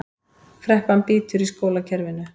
Kreppan bítur í skólakerfinu